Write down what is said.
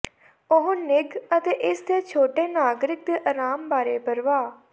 ਉਹ ਨਿੱਘ ਅਤੇ ਇਸ ਦੇ ਛੋਟੇ ਨਾਗਰਿਕ ਦੇ ਆਰਾਮ ਬਾਰੇ ਪਰਵਾਹ